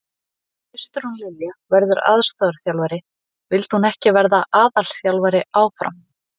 Kristrún Lilja verður aðstoðarþjálfari, vildi hún ekki vera aðalþjálfari áfram?